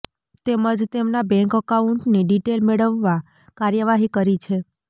તેમજ તેમના બેંક એકાઉન્ટની ડીટેઈલ મેળવવા કાર્યવાહી કરી છે